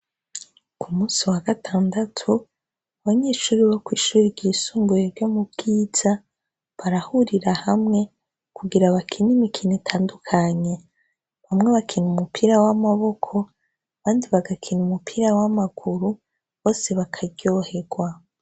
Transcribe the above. Ku musi wa gatandatu, abanyeshure bo kw'ishure ryisumbuye ryo mu Bwiza barahurira hamwe kugira bakine imikino itandukanye. Bamwe bakina umupira w'amaboko abandi bagakina umupira w'amaguru, bose bakaryohegwa.